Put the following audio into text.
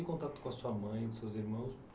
E contato com a sua mãe, com seus irmãos?